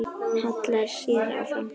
Hallar sér fram.